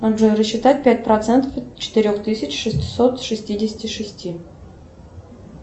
джой рассчитать пять процентов от четырех тысяч шестисот шестидесяти шести